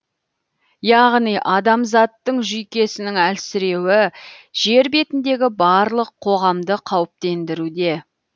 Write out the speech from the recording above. яғни адамзаттың жүйкесінің әлсіреуі жер бетіндегі барлық қоғамды қауіптендіруде